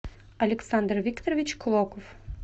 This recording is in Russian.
александр викторович клоков